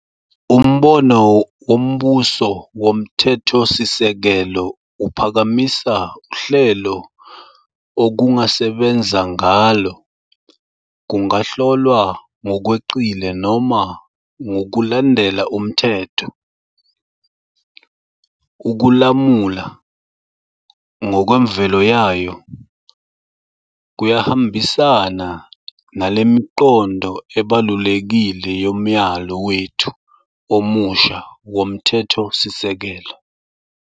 Umbono wombuso womthethosisekelo uphakamisa uhlelo okungasebenza ngalo kungahlolwa ngokweqile noma ngokulandela umthetho. Ukulamula, ngokwemvelo yayo, kuyahambisana nale miqondo ebalulekile yomyalo wethu omusha womthethosisekelo.